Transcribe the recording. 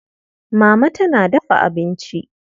Mama tana dafa abinci.